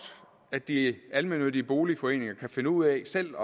de almennyttige boligforeninger kan finde ud af selv